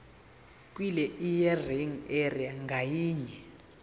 kwilearning area ngayinye